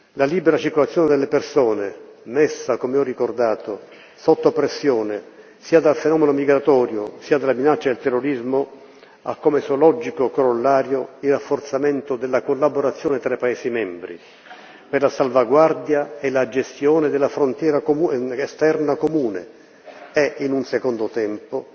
La libera circolazione delle persone, messa come ho ricordato sotto pressione sia dal fenomeno migratorio sia dalla minaccia del terrorismo, ha come suo logico corollario il rafforzamento della collaborazione tra i paesi membri per la salvaguardia e la gestione della frontiera esterna comune e, in un secondo tempo,